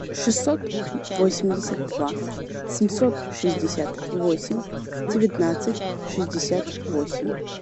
шестьсот восемьдесят два семьсот шестьдесят восемь девятнадцать шестьдесят восемь